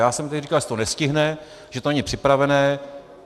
Já jsem tady říkal, že se to nestihne, že to není připravené.